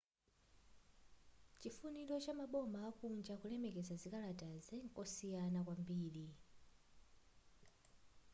chifuniro cha maboma akunja kulemekeza zikalatazi ndikosiyana kwambiri